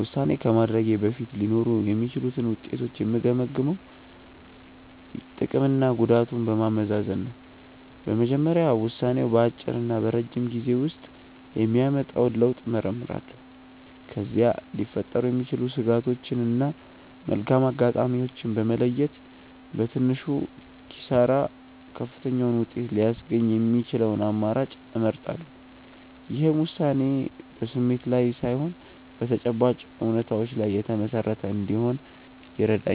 ውሳኔ ከማድረጌ በፊት ሊኖሩ የሚችሉትን ውጤቶች የምገመግመው ጥቅምና ጉዳቱን በማመዛዘን ነው። በመጀመሪያ ውሳኔው በአጭርና በረጅም ጊዜ ውስጥ የሚያመጣውን ለውጥ እመረምራለሁ። ከዚያም ሊፈጠሩ የሚችሉ ስጋቶችን እና መልካም አጋጣሚዎችን በመለየት፣ በትንሹ ኪሳራ ከፍተኛውን ውጤት ሊያስገኝ የሚችለውን አማራጭ እመርጣለሁ። ይህም ውሳኔዬ በስሜት ላይ ሳይሆን በተጨባጭ እውነታዎች ላይ የተመሰረተ እንዲሆን ይረዳኛል።